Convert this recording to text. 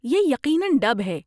یہ یقیناً ڈب ہے۔